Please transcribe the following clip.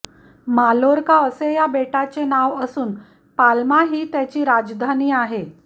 Mallorca असे या बेटाचे नाव असून पाल्मा ही त्याची राजधानी आहे